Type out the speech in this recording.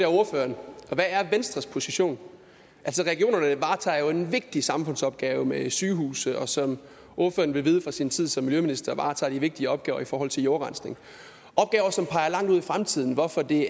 ordføreren hvad er venstres position altså regionerne varetager jo en vigtig samfundsopgave med sygehuse og som ordføreren vil vide fra sin tid som miljøminister varetager de vigtige opgaver i forhold til jordrensning opgaver som peger langt ud i fremtiden hvorfor det